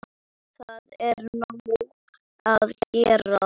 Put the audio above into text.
Það er nóg að gera.